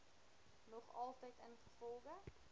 nog altyd ingevolge